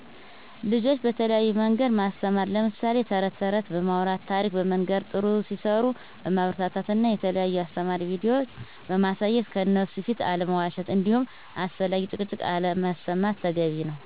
ልጆች በተለያዮ መንገድ ማስተማር ለምሳሌ ተረተረት በማውራት፣ ታሪክ በመንገር፣ ጥሩ ሲሰሩ በማበረታታት እና የተለዩ አሰተማሪ ቪዲዮ ማሳየት ከእነሡ ፊት አለመዋሽት እንዲሁም አላስፈለጊ ጭቅጭቅ አለማሰማት ተገቢ ነው